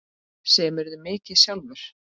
Semurðu mikið sjálfur?